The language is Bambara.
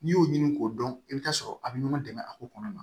N'i y'o ɲini k'o dɔn i bɛ t'a sɔrɔ a bɛ ɲɔgɔn dɛmɛ a ko kɔnɔna na